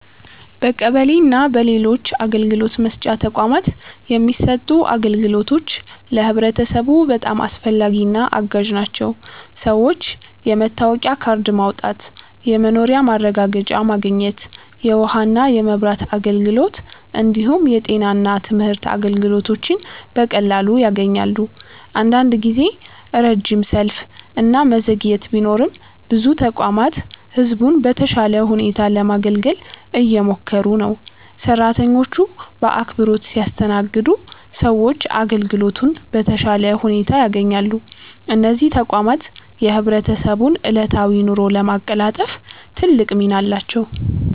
በቀበሌ እና በሌሎች አገልግሎት መስጫ ተቋማት የሚሰጡት አገልግሎቶች ለህብረተሰቡ በጣም አስፈላጊና አጋዥ ናቸው። ሰዎች የመታወቂያ ካርድ ማውጣት፣ የመኖሪያ ማረጋገጫ ማግኘት፣ የውሃና የመብራት አገልግሎት እንዲሁም የጤና እና የትምህርት አገልግሎቶችን በቀላሉ ያገኛሉ። አንዳንድ ጊዜ ረጅም ሰልፍ እና መዘግየት ቢኖርም ብዙ ተቋማት ህዝቡን በተሻለ ሁኔታ ለማገልገል እየሞከሩ ነው። ሰራተኞቹ በአክብሮት ሲያስተናግዱ ሰዎች አገልግሎቱን በተሻለ ሁኔታ ያገኛሉ። እነዚህ ተቋማት የህብረተሰቡን ዕለታዊ ኑሮ ለማቀላጠፍ ትልቅ ሚና አላቸው።